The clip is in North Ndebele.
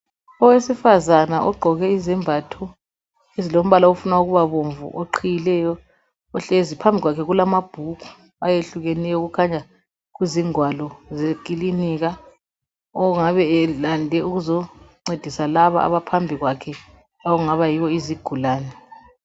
Owesifazana ogqoke izembatho ezilombala ofuna ukubabomvu oqhiyileyo, uhlezi. Phambi kwakhe kulamabhuku ayehlukeneyo okukhanya kuzingwalo zekilinika ongabe elande ukuzoncedisa laba abaphambi kwakhe okungabayibo izigulane.